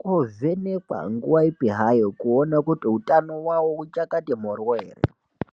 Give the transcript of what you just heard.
kunovhenhekwa nguwa ipi hayo kuona kuti hutano hwavo wakachati mhoryo here.